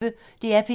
DR P1